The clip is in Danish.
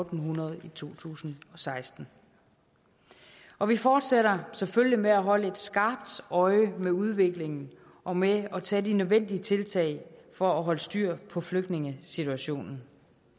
hundrede i to tusind og seksten og vi fortsætter selvfølgelig med at holde et skarpt øje med udviklingen og med at tage de nødvendige tiltag for at holde styr på flygtningesituationen